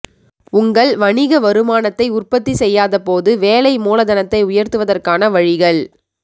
உங்கள் வணிக வருமானத்தை உற்பத்தி செய்யாதபோது வேலை மூலதனத்தை உயர்த்துவதற்கான வழிகள்